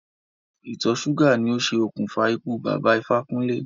Ìtọ̀ ṣúgà ni o ṣe òkùnfà ikú Bàbá Ifákúnlé.